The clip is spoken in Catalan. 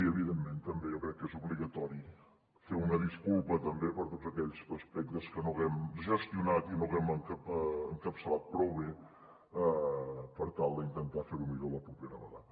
i evidentment jo crec que és obligatori fer una disculpa ta bé per tots aquells aspectes que no haguem gestionat i no haguem encapçalat prou bé per tal d’intentar fer ho millor la propera vegada